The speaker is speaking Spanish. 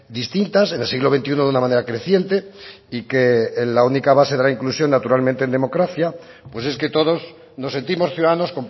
distintas en el siglo veintiuno de una manera creciente y que en la única base de la inclusión naturalmente en democracia pues es que todos nos sentimos ciudadanos